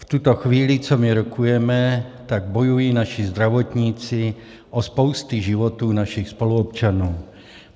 V tuto chvíli, co my rokujeme, tak bojují naši zdravotníci o spousty životů našich spoluobčanů.